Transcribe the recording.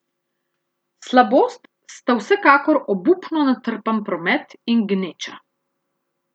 Slabost sta vsekakor obupno natrpan promet in gneča.